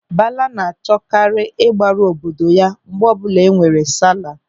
Bala na-achọkarị ịgbaru obodo ya mgbe ọbụla enwere sala.